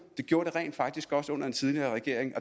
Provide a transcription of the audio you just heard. det gjorde de rent faktisk også under den tidligere regering